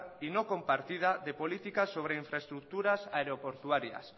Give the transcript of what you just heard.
y no compartida de política sobre infraestructuras aeroportuarias